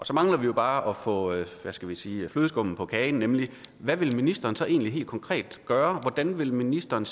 så mangler vi jo bare at få hvad skal vi sige flødeskummet på kagen nemlig hvad vil ministeren så egentlig helt konkret gøre hvordan vil ministeren